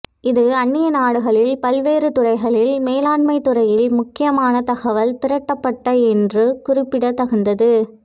இது அந்நிய நாடுகளில் பல்வேறு துறைகளில் மேலாண்மைத் துறையில் முக்கியமான தகவல் திரட்டப்பட்ட என்று குறிப்பிடத் தகுந்தது